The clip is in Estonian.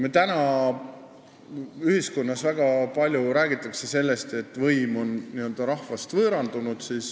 Meil räägitakse praegu ühiskonnas väga palju sellest, et võim on rahvast võõrandunud.